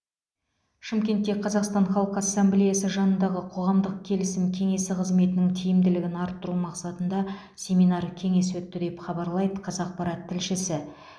шымкентте қазақстан халқы ассамблеясы жанындағы қоғамдық келісім кеңесі қызметінің тиімділігін арттыру мақсатында семинар кеңес өтті деп хабарлайды қазақпарат тілшісі